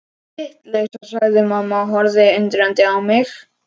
Vitleysa sagði mamma og horfði undrandi á mig.